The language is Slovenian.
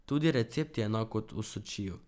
Tudi recept je enak kot v Sočiju.